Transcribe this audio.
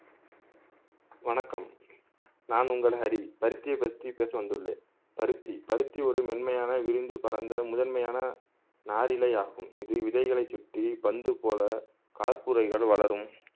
வணக்கம் நான் உங்கள் ஹரி பருத்தியை பத்தி பேச வந்துள்ளேன் பருத்தி பருத்தி ஒரு மென்மையான விரிந்து பறந்த முதன்மையான நாரிழை ஆகும் இது விதைகளை சுற்றி பந்து போல கார்ப்புரையில் வளரும்